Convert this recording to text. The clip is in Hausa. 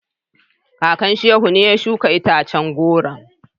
Kakan Shehu ne ya shuka itacen goron.